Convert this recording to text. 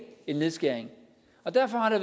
en nedskæring derfor har